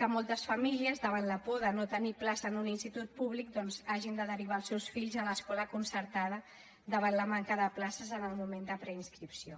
que moltes famílies davant la por de no tenir plaça en un institut públic hagin de derivar els seus fills a l’escola concertada davant la manca de places en el moment de preinscripció